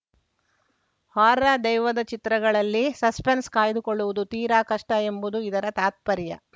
horror ದೆವ್ವದ ಚಿತ್ರಗಳಲ್ಲಿ suspense ಕಾಯ್ದುಕೊಳ್ಳುವುದು ತೀರಾ ಕಷ್ಟಎಂಬುದು ಇದರ ತಾತ್ಪರ್ಯ